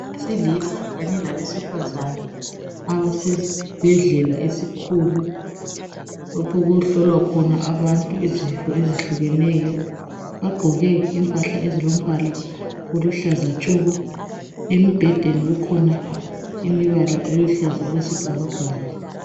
Abesilisa kanye labesifazana abasesibhedlela esikhulu lapho okuhlolwa khona abantu izifo ezehlukeneyo. Bagqoke impahla ezilombala oluhlaza tshoko. Embhedeni kukhona imibala eluhlaza okwesibhakabhaka.